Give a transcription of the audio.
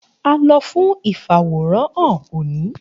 A lọ fun ifaworanhan omi.